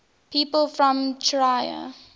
people from trier